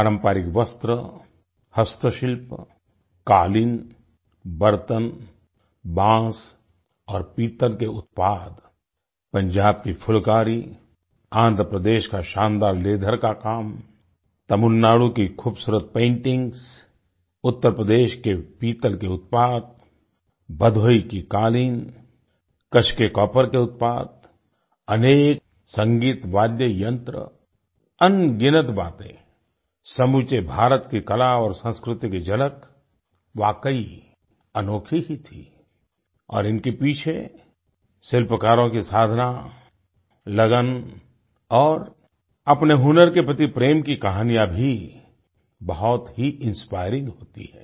पारंपरिक वस्त्र हस्तशिल्प कालीन बर्तन बांस और पीतल के उत्पाद पंजाब की फुलकारी आंध्र प्रदेश का शानदार लीथर का काम तमिलनाडु की खूबसूरत पेंटिंग उत्तर प्रदेश के पीतल के उत्पाद भदोही भदोही की कालीन कच्छ के कॉपर के उत्पाद अनेक संगीत वादय यंत्र अनगिनत बातें समूचे भारत की कला और संस्कृति की झलक वाकई अनोखी ही थी और इनके पीछे शिल्पकारों की साधना लगन और अपने हुनर के प्रति प्रेम की कहानियाँ भी बहुत ही इंस्पायरिंग होती हैं